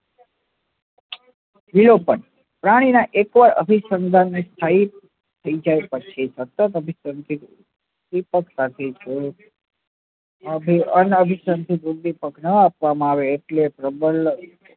એ પણ પ્રાણી ના એકવાર અભિસંધાન ને સ્થાયી થઇ જાય પછી સતત અભી અનાભીસંધન થી કુળદીપક નાં આપવા માં આવે એટલે પ્રબલન